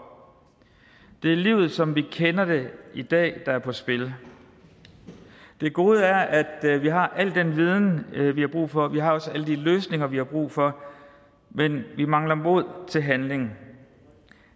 det er i livet som vi kender det i dag der er på spil det gode er at vi har al den viden vi har brug for vi har også alle de løsninger vi har brug for men vi mangler mod til handling